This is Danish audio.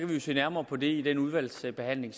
vi jo se nærmere på det i den udvalgsbehandling